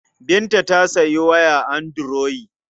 Binta ta sayi waya anduroyi.